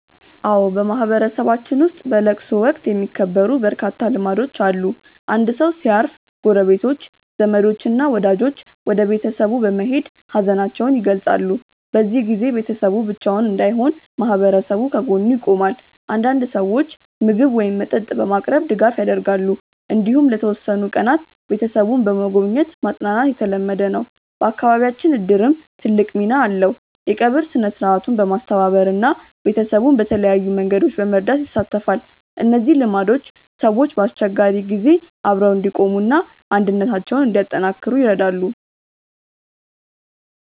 አዎ፣ በማህበረሰባችን ውስጥ በለቅሶ ወቅት የሚከበሩ በርካታ ልማዶች አሉ። አንድ ሰው ሲያርፍ ጎረቤቶች፣ ዘመዶች እና ወዳጆች ወደ ቤተሰቡ በመሄድ ሀዘናቸውን ይገልጻሉ። በዚህ ጊዜ ቤተሰቡ ብቻውን እንዳይሆን ማህበረሰቡ ከጎኑ ይቆማል። አንዳንድ ሰዎች ምግብ ወይም መጠጥ በማቅረብ ድጋፍ ያደርጋሉ። እንዲሁም ለተወሰኑ ቀናት ቤተሰቡን በመጎብኘት ማጽናናት የተለመደ ነው። በአካባቢያችን እድርም ትልቅ ሚና አለው፤ የቀብር ሥነ-ሥርዓቱን በማስተባበር እና ቤተሰቡን በተለያዩ መንገዶች በመርዳት ይሳተፋል። እነዚህ ልማዶች ሰዎች በአስቸጋሪ ጊዜ አብረው እንዲቆሙ እና አንድነታቸውን እንዲያጠናክሩ ይረዳሉ።